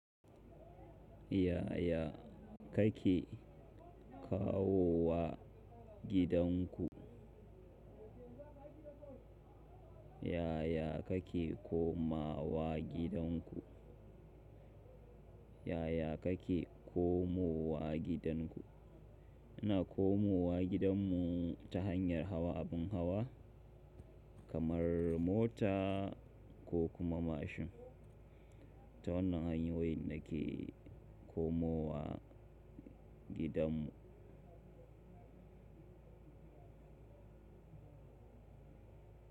Yaya kake kawo wa gidanku? Yaya kake koma wa gidanku? Yaya kake komowa gidanku? Ina komowa gidan mu ta hanyar hawa abin hawa kamar mota ko kuma mashin. Ta wannan hanyoyin da ke komowa gidan mu.